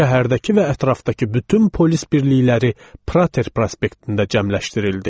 Şəhərdəki və ətrafdakı bütün polis birlikləri Prater prospektində cəmləşdirildi.